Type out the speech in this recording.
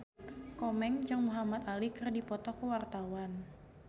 Komeng jeung Muhamad Ali keur dipoto ku wartawan